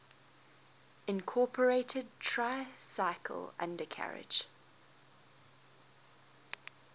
incorporated tricycle undercarriage